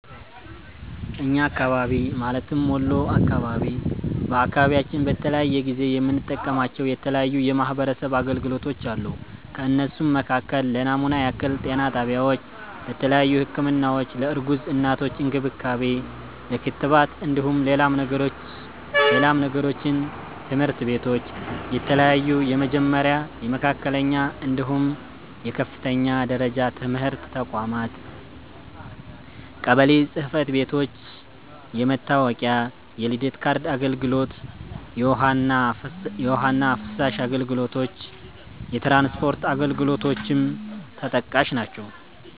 እኛ አካባቢ ማለትም ወሎ አካባቢ፤ በአካባቢያችን በተለያየ ጊዜ የምንጠቀማቸው የተለያዩ የማሕበረሰብ አገልግሎቶች አሉ። ከእነሱም መካከል ለናሙና ያክል - ጤና ጣቢያዎች:- ለተያዩ ህክምናዎች፣ ለእርጉዝ እናቶች እንክብካቤ፣ ለክትባት እንደሁም ሌላም ነገሮችን - ትምህርት ቤቶች :- የተለያዩ የመጀመሪያ፣ የመካከለኛ፣ እንድሁም የከፍተኛ ደረጃ ትምህርት ተቋማት - ቀበሎ ጽህፈት ቤቶች- የመታወቂያ፣ የልደት ካርድ አገልግሎት - የውሀ እና ፍሳሽ አገልግሎቶች - የትራንስፖርት አገልግሎ ሌሎችም ተጠቃሽ ናቸው።